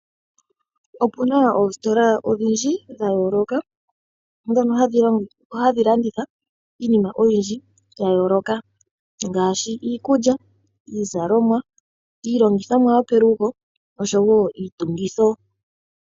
Opuna oositola odhindji dha yooloka ndhono hadhi landitha iinima oyindji ya yooloka ngaashi iikulya, iizalomwa , iilongithomwa yopelugo osho wo iitungitho.